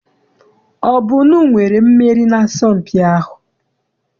Ọ bụ unu nwere mmeri n'asọmpi ahụ?